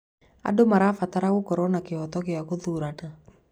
Andũ marabatara gũkorwo na kĩhooto gĩa gũthurana.